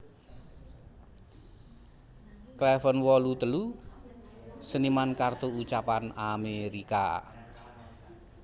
Cleven wolu telu seniman kartu ucapan Amerika